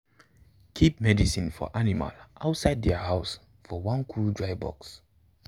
keep medicine for animal outside their house for one cool dry box.